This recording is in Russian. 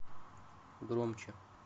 громче